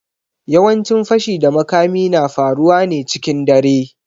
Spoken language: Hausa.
Yawancin fashi da makami na faruwa ne cikin dare.